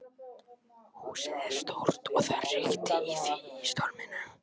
Húsið er stórt og það hrikti í því í storminum.